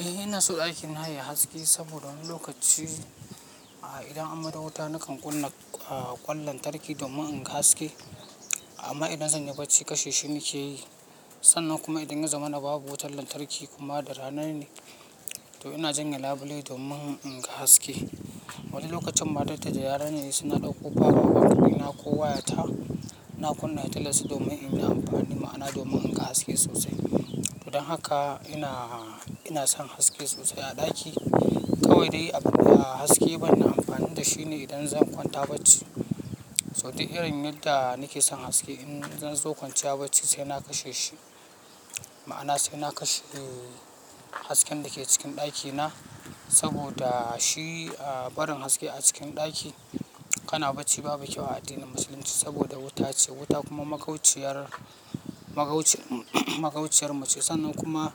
Eh ina so ɗakin na yayi haske saboda wani lokaci, an idan an maido wuta nakan kunna ah ƙwan lantarki domin in ga haske. Amma idan zan yi bacci kashe shi nake yi. Sannan kuma idan ya zama na babu wutar lantarki kuma da rana ne, to ina janye labule domin in ga haske. Wani lokacin ma datta da yara na sai na ɗauko power bank ɗina ko waya ta, na kunna fitilar su domin in yi amfani ma'ana domin in ga haske sosai. To don haka ina, ina son haske sosai a ɗaki. Kawai dai abunda haske banna amfani da shi ne idan zan kwanta bacci. So duk irin yadda nake son haske in zan zo kwanciya bacci sai na kashe shi, ma'ana sai na kashe hasken da ke cikin ɗakina saboda shi a barin haske a cikin ɗaki kana bacci babu kyau a addinin musulunci saboda wuta ce, wuta kuma magauciyar, magauciyar mu magauciyar mu ce. Sannan kuma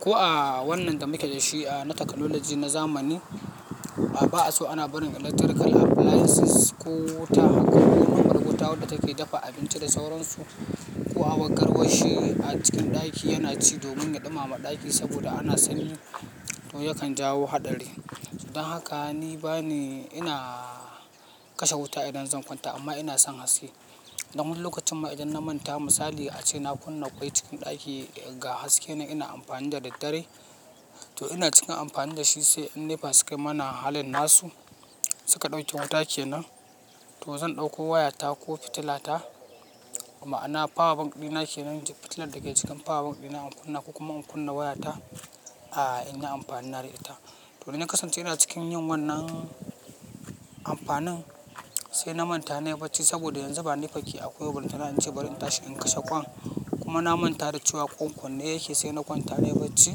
ko a wannan da muke da shi a na technology na zamani, a ba'a so ana barin electrical appliances ko wuta haka ko normal wuta wadda take dafa abinci da sauransu ko a war garwarshi a cikin ɗaki yana ci domin ya ɗumama ɗaki saboda ana sanyi to yakan jawo haɗari. Don haka ni bani, ina kashe wuta idan zan kwanta amma ina son haske. Don wani lokacin ma idan na manta misali a ce na kunna ƙwai cikin ɗaki ga haske ina amfani da daddare, to ina cikin amfani da shi sai in nepa su kai mana halin nasu, suka ɗauke wuta kenan to zan ɗauko waya ta ko fitila ta ma'ana power bank ɗina kenan fitilar da ke cikin power bank ɗina in kunna ko kuma in kunna waya ta, a in yi amfani na da ra'ita. To idan ya kasance ina cikin yin wannan amfanin sai na manta na yi bacci saboda yanzu ba nepa ke akwai ba ballanta in ce bari in tashi in kashe ƙwan. Kuma na manta da cewa ƙwan kunne yake sai na kwanta na yi bacci.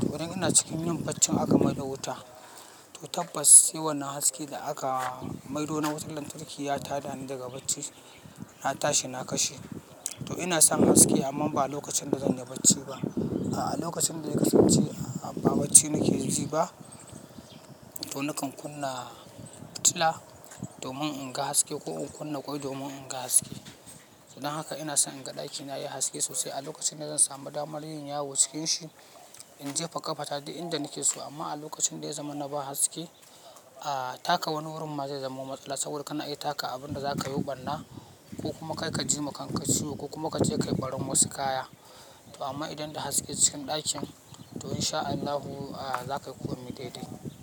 To idan ina cikin yin baccin aka maido wuta to tabbas sai wannan haske da aka maido na wutar lantarki ya tada ni daga bacci, na tashi na kashe. To ina son haske amman ba lokacin da zan yi bacci ba. A lokacin da ya kasance a ba bacci nake ji ba to nakan kunna fitila domin in ga haske ko in kunna ƙwai domin in ga haske. Don haka ina son in ga ɗakina yayi haske sosai a lokacin da zan samu damar yin yawo cikin shi, in jefa ƙata duk inda nake so amma a lokacin da ya zama na ba haske, a taka wani wurin ma zai zama matsala saboda kana iya taka abin da za ka yo ɓarna ko kuma kai ka ji ma kan ka ciwo ko kuma ka je ka yi ɓarin wasu kaya. To amma idan da haske cikin ɗakin to in sha Allahu a za ka yi komi dai dai.